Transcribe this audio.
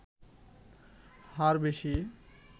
হার বেশি